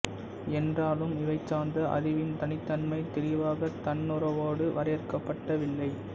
என்றாலும் இவை சார்ந்த அறிவின் தனித்தன்மை தெளிவாக தன்னுணர்வோடு வரையறுக்கப்படவில்லை